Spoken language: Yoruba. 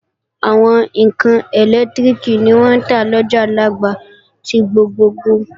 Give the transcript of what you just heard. Àwọn ẹ̀rọ ẹlẹ́lẹtiriki ni wọ́n ń tà lọjà Alaba ti gbogbogbò